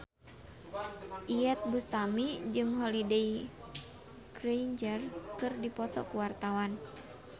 Iyeth Bustami jeung Holliday Grainger keur dipoto ku wartawan